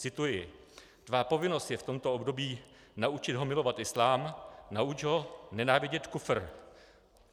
Cituji: Tvá povinnost je v tomto období naučit ho milovat islám, nauč ho nenávidět kufr.